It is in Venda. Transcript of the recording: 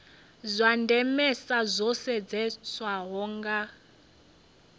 zwa ndemesa zwo sedzeswaho nga